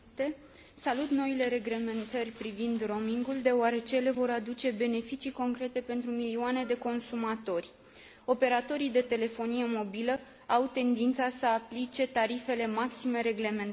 Salut noile reglementări privind roamingul, deoarece ele vor aduce beneficii concrete pentru milioane de consumatori. Operatorii de telefonie mobilă au tendința să aplice tarifele maxime reglementate.